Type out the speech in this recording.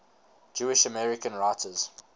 jewish american writers